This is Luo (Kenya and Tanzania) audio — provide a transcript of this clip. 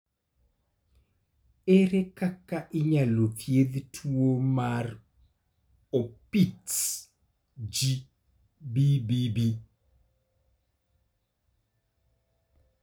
Ere kaka inyalo thiedh tuwo mar Opitz G/BBB?